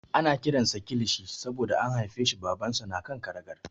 Ana kiran sa Kilishi saboda an haifeshi Babansa na kan karagar.